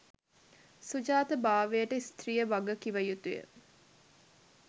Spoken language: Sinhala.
සුජාත භාවයට ස්ත්‍රිය වග කිව යුතු ය.